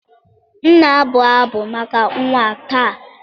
M na-abụ abụ maka nwa taa.